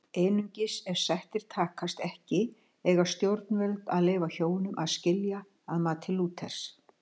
Einungis ef sættir takast ekki eiga stjórnvöld að leyfa hjónum að skilja að mati Lúthers.